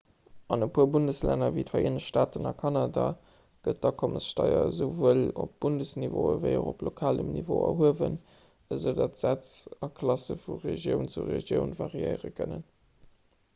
an e puer bundeslänner ewéi d'vereenegt staaten a kanada gëtt d'akommessteier esouwuel op bundesniveau ewéi och op lokalem niveau erhuewen esoudatt d'sätz a klasse vu regioun zu regioun variéiere kënnen